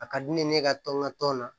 A ka di ne ye ne ka tɔn n ka tɔn na